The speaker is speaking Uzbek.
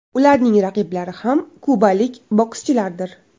Ularning raqiblari ham kubalik bokschilardir.